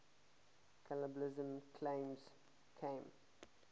cannibalism claims came